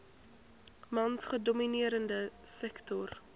mans gedomineerde sektor